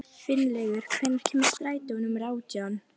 Finnlaugur, hvenær kemur strætó númer nítján?